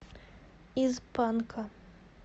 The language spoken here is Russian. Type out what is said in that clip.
из панка